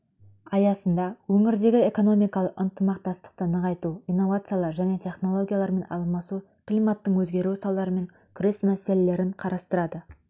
аясында өңірдегі экономикалық ынтымақтастықты нығайту инновациялар және технологиялармен алмасу климаттың өзгеруі салдарымен күрес мәселелерін қарастырды